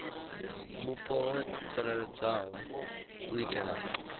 vhupo ho tsireledzeaho u itela